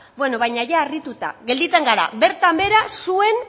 beno baina ia harrituta gelditzen gara bertan behera zuen